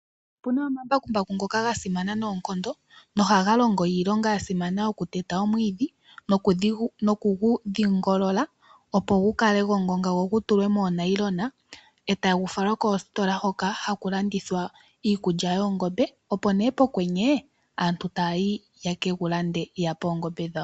Opu na omambakumbaku ngoka gasimana noonkondo nohaga longo iilonga yasimana yokuteta omwiidhi, nokugu dhingolola, opo gu kale gongonga go gutulwe moonailona. E tagu falwa koostola Hoka haku landithwa iikulya yoongombe. Opo nee pokwenye aantu taa yi yeke gu lande, ya pe oongombe dhawo.